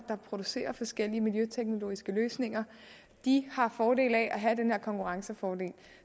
producerer forskellige miljøteknologiske løsninger de har fordel af at have den her konkurrencefordel